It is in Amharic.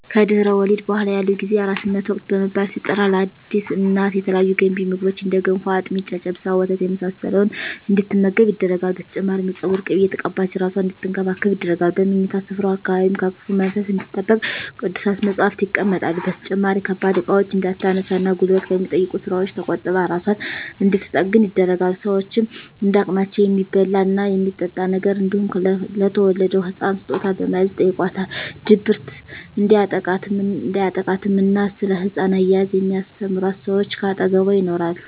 ከድህረ ወሊድ በኃላ ያለው ጊዜ የአራስነት ወቅት በመባል ሲጠራ ለአዲስ እናት የተለያዩ ገንቢ ምግቦች እንደ ገንፎ፣ አጥሚት፣ ጨጨብሳ፣ ወተት የመሳሰለውን እንድትመገብ ይደረጋል። በተጨማሪም የፀጉር ቅቤ እየተቀባች እራሷን አንድትንከባከብ ይደረጋል። በምኝታ ስፍራዋ አካባቢም ከክፉ መንፈስ እንድትጠበቅ ቅዱሳት መፀሃፍት ይቀመጣሉ። በተጨማሪም ከባድ እቃዎችን እንዳታነሳ እና ጉልበት ከሚጠይቁ ስራወች ተቆጥባ እራሷን እንድንትጠግን ይደረጋል። ሸወችም እንደ አቅማቸው የሚበላ እና የሚጠጣ ነገር እንዲሁም ለተወለደዉ ህፃን ስጦታ በመያዝ ይጨይቋታል። ድብርት እንዲያጠቃትም እና ስለ ህፃን አያያዝ የሚስተምሯት ሰወች ከአጠገቧ ይኖራሉ።